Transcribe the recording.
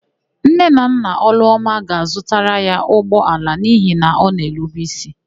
Nne na nna Ọlụọma ga-azụtara ya ụgbọala n'ihi na ọ na-erube ísí.